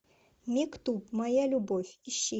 мектуб моя любовь ищи